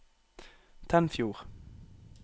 Tennfjord